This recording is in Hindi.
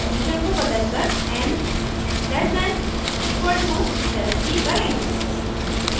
condition को बदलकर n less than equal to 70 करें